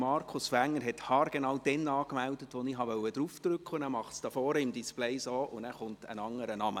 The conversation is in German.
Markus Wenger hat sich haargenau dann angemeldet, als ich die Taste drücken wollte, weshalb auf dem Display ein anderer Name erschienen ist.